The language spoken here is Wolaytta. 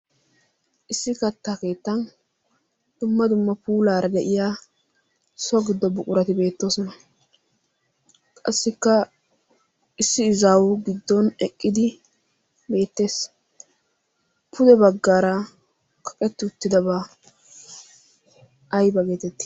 issi kattaa keettan dumma dumma puulaara de'iya so giddo buqurati beettoosona qassikka issi izaawu giddon eqqidi beettees pude baggaara kaqetti uttidabaa ayba geetetti